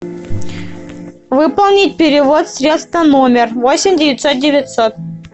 выполнить перевод средств на номер восемь девятьсот девятьсот